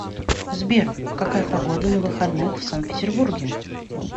сбер какая погода на выходных в сан петербурге